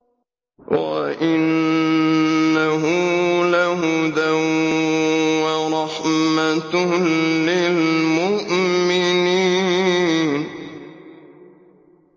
وَإِنَّهُ لَهُدًى وَرَحْمَةٌ لِّلْمُؤْمِنِينَ